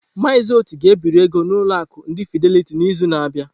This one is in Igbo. Mazị Oti ga ebiri ego n'ụlọ akụ ndi Fideliti n'izu na-abịa.